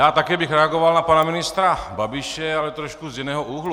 Já také bych reagoval na pana ministra Babiše, ale trošku z jiného úhlu.